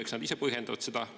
Eks nad ise põhjendavad seda.